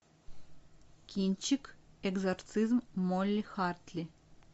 кинчик экзорцизм молли хартли